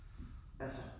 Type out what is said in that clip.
Altså